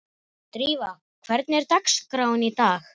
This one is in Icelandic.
Drífa, hvernig er dagskráin í dag?